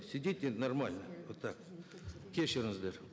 сидите нормально вот так кешіріңіздер